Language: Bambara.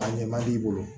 A ɲɛ man d'i bolo